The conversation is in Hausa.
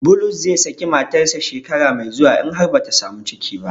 Bulus zai saki matarsa shekara mai zuwa in har bata samu ciki ba.